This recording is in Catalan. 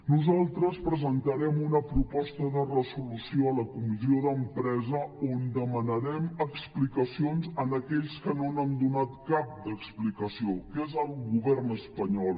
nosaltres presentarem una proposta de resolució a la comissió d’empresa on demanarem explicacions a aquells que no n’han donat cap d’explicació que és el govern espanyol